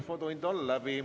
Infotund on läbi.